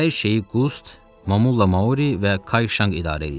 Hər şeyi Qust, Momulla Mauri və Kayşanq idarə edirdi.